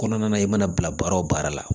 Kɔnɔna na i mana bila baara o baara la